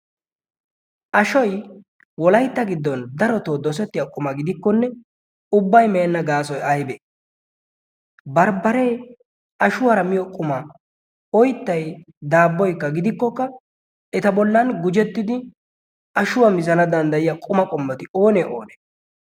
ashoi wolaitta giddon darotoo doosettiya quma gidikkonne ubbai meenna gaasoi aibee? barbbaree ashuwaara miyo quma. oittai daabboikka gidikkokka eta bollan gujettidi ashuwaa mizana danddayiya quma qommoti oonee oonee?